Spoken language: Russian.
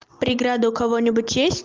преграда у кого-нибудь есть